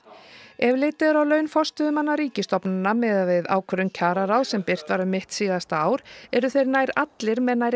ef litið er á laun forstöðumanna ríkisstofnana miðað við ákvörðun kjararáðs sem birt var um mitt síðasta ár eru þeir nær allir með nærri